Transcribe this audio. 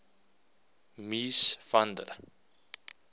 mies van der